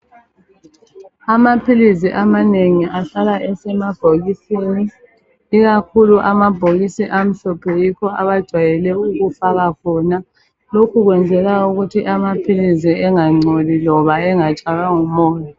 Amaphilizi amanengi ahlala esemabhokisini. lkakhulu amabhokisi amhlophe yikho abajwayele ukufaka khona. Lokhu kwenzelwa ukuthi amaphilisi angangcoli, kumbe angatshaywa ngumoya.